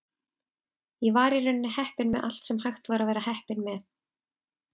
Ég var í rauninni heppinn með allt sem hægt var að vera heppinn með.